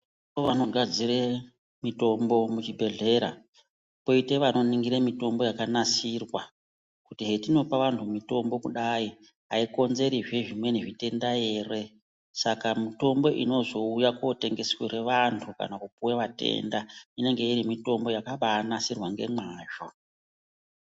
Vanogadzire mitombo muchibhedhlera poite vanoningire mitombo yakanasirwa kuti hetinopa vantu mitombo kudai haikonzerizve zvimweni zvitenda ere. Saka mitombo inozouya kotengeserwe vantu kana kupuve vatenda inenge iri mitombo yakabanasirwa ngemazvo.